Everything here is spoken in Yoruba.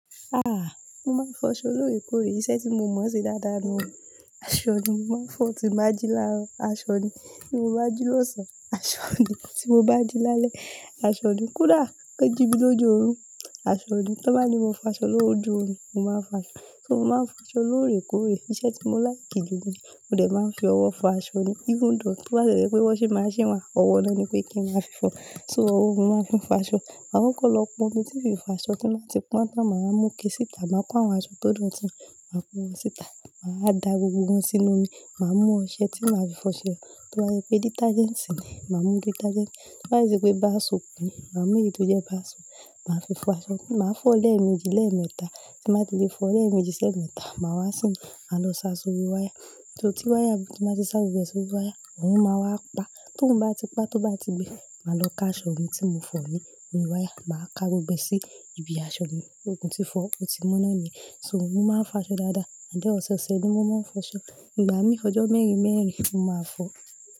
Ah! Mo máa ń fọ aṣọ lóòrèkóòrè, iṣẹ́ tí mo mọ̀ ṣe dáadáa ni. Aṣọ ni mo máa ń fọ tí bá jíla, aṣọ ni tí mo bá jí lọ̀sán, aṣọ ni tí mo bá jí lálẹ́, aṣọ ni. Kodà, kan jí mi lójú orun, aṣọ ni. Tí wọ́n bá ní mo fọ aṣọ lójú omí, mo máa ń fọ aṣọ. So mo máa ń fọ aṣọ lóòrèkóòrè, iṣẹ́ tí mo láìkì jù ni. Mo dẹ̀ máa ń fi ọwọ́ fọ aṣọ ni. Ifuun-doo tó bá tiẹ̀ jẹ́ pé wọ́nṣínmaṣín wà, ọwọ́ nọ́ ni pé kí n máa fi fọ. So owó ni mo máa ń fi fọ aṣọ. Ma kọkọ̀ lọ pọn omi tí ìfìfà aṣọ tí mbáa ti pọ́n tán, màá mú ké sìta, màá kó àwọn aṣọ tó dọ̀tí, màá kó wọn sìta. Màá da gbogbo wọn sínú omi, màá mú ọṣẹ tí màá fi fọ ṣẹlẹ̀. Tó bá ṣe pé dítájẹ́ǹsì ni, màá mú dítájẹ́ǹsì. Tí bá sì ṣe pé báà soòpù ni, màá mú èyí tó jẹ́ báàsoòpù. Màá fi fọ aṣọ. Mo máa ń fọ lẹ́ẹ̀mejì lẹ́ẹ̀mẹta. Tí mbá ti lè fọ lẹ́ẹ̀mejì ṣẹ́ẹ̀mẹta, màá wá sínú, màá lọ sá sórí wáyà. Sọ̀ tí wáyà, tí mbà ti sá gbogbo ẹ̀ sórí wáyà, òórùn máa wá pa. Tóòrùn bá ti pa, tó bá ti gbẹ, màá lọ ká aṣọ mi tí mo fọ ní orí wáyà. Màá ká gbogbo ẹ sí ibi aṣọ mi. Mo tí fọ̀ọ́ ó ti mọ́ ná ni. So mo máa ń fọ aṣọ dáadáa. Ǹjẹ́ ọ̀sọ̀ọ̀sẹ̀ ni mo máa ń fọ aṣọ. Ìgbà mí ọjọ́ mẹ́rin mẹ́rin ni mo máa fọ.